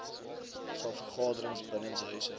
saal vergaderings binnenshuise